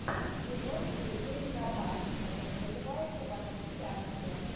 кино с сергеем гармашем которое называется во все тяжкие